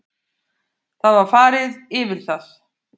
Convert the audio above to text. Það var farið yfir það